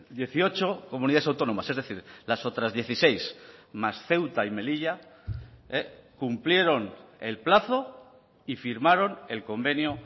dieciocho comunidades autónomas es decir las otras dieciséis más ceuta y melilla cumplieron el plazo y firmaron el convenio